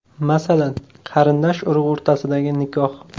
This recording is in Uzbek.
Masalan, qarindosh-urug‘ o‘rtasidagi nikoh.